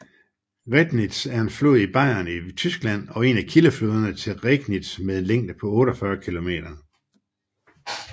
Rednitz er en flod i Bayern i Tyskland og en af kildefloderne til Regnitz med en længde på 48 km